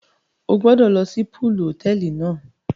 O gbọdọ lọ si pọọlù hotẹẹli náà!